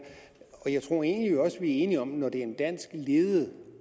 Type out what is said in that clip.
enige om når det er en dansk ledet